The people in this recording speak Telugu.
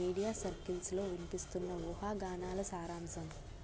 మీడియా సర్కిల్స్లో విన్పిస్తోన్న ఊహాగానాల సారాంశం